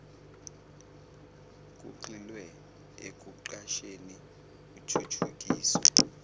kugxilwe ekuqasheni kuthuthukiswe